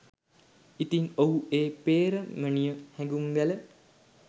ඉතින් ඔහු ඒ පේ්‍රමණීය හැඟුම් වැල